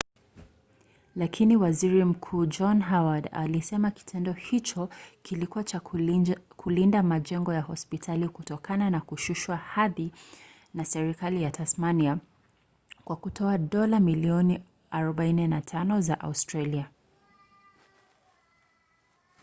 lakini waziri mkuu john howard alisema kitendo hicho kilikuwa tu cha kulinda majengo ya hospitali kutokana na kushushwa hadhi na serikali ya tasmania kwa kutoa dola milioni 45 za australia